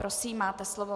Prosím, máte slovo.